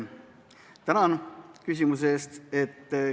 Tänan küsimuse eest!